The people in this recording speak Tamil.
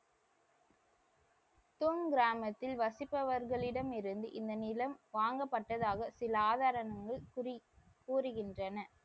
தொன் கிராமத்தில் வசிப்பவர்களிடம் இருந்து இந்த நிலம் வாங்கப்பட்டதாக சில ஆதாரங்கள் கூறி கூறுகின்றன.